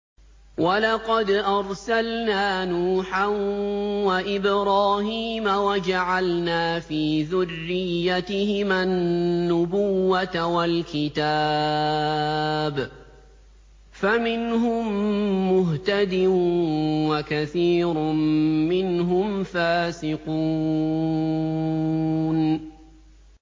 وَلَقَدْ أَرْسَلْنَا نُوحًا وَإِبْرَاهِيمَ وَجَعَلْنَا فِي ذُرِّيَّتِهِمَا النُّبُوَّةَ وَالْكِتَابَ ۖ فَمِنْهُم مُّهْتَدٍ ۖ وَكَثِيرٌ مِّنْهُمْ فَاسِقُونَ